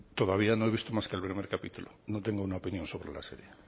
todavía no he visto más que el primer capítulo no tengo una opinión sobre la serie